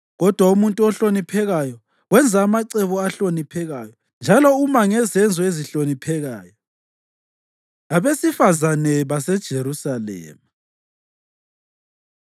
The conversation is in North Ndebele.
Kodwa umuntu ohloniphekayo wenza amacebo ahloniphekayo, njalo uma ngezenzo ezihloniphekayo. Abesifazane BaseJerusalema